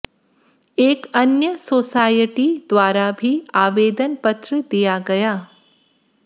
एक अन्य सोसायटी द्वारा भी आवेदन पत्र दिया गया